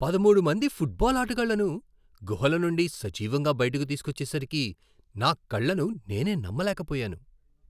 పదమూడు మంది ఫుట్బాల్ ఆటగాళ్లను గుహల నుండి సజీవంగా బయటకు తీసుకొచ్చేసరికి నా కళ్ళను నేనే నమ్మలేకపోయాను.